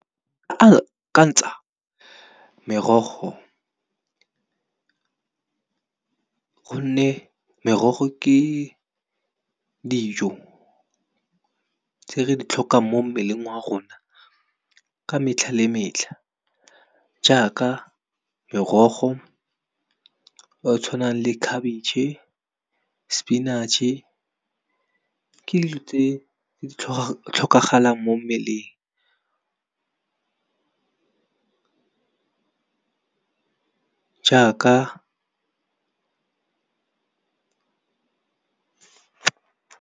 Akantsa merogo gonne merogo ke dijo, tse re di tlhokang mo mmeleng wa rona ka metlha le metlha. Jaaka merogo e e tshwanang le khabitšhe, sepinatšhe ke dilo tse di tlhokagalang mo mmeleng ka jaaka.